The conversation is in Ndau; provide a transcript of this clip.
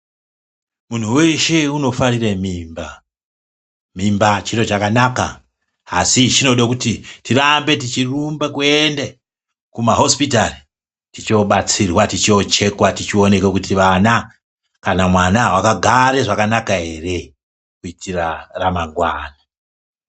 Munhu weshe unofarire mimba. Mimba chiro chakanaka, asi chinode kuti tirambe techirumba kuende kumahosipitari, tichiobatsirwa tichiochekwa tichioneka kuti vana kana mwana wakagare zvakanaka ere kuitira ramangwani.